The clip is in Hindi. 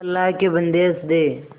अल्लाह के बन्दे हंस दे